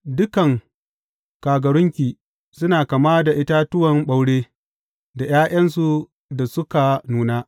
Dukan kagarunki suna kama da itatuwan ɓaure da ’ya’yansu da suka nuna.